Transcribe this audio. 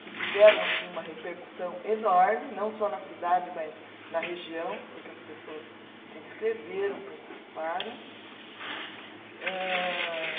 que tiveram assim uma repercussão enorme, não só na cidade, mas na região, porque as pessoas se inscreveram, participaram. Âh